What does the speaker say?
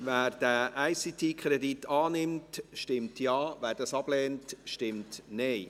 Wer diesen ICT-Kredit annimmt, stimmt Ja, wer diesen ablehnt, stimmt Nein.